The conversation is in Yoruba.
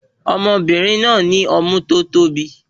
Ọmọbìnrin náà ní ọmú tí o tóbi